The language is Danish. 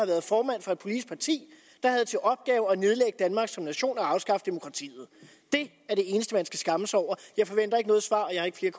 været formand for et politisk parti der havde til opgave at nedlægge danmark som nation og afskaffe demokratiet det er det eneste man skal skamme sig over jeg forventer ikke noget svar